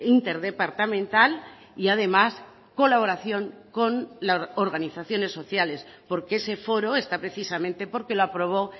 interdepartamental y además colaboración con las organizaciones sociales porque ese foro está precisamente porque lo aprobó